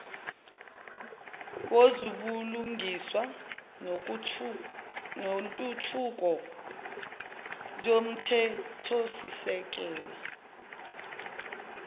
wezobulungiswa nentuthuko yomthethosisekelo